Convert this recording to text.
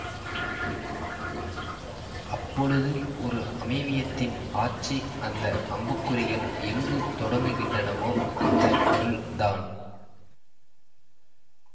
அப்பொழுது ஒரு அமைவியத்தின் ஆட்சி அந்த அம்புக்குறிகள் எங்கு தொடங்குகின்றனவோ அந்த பொருள் தான்